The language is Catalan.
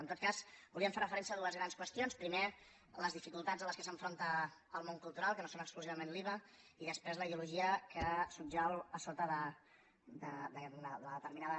en tot cas volíem fer referència a dues grans qüestions primer a les dificultats amb què s’enfronta el món cultural que no és exclusivament l’iva i després la ideologia que subjau sota de determinada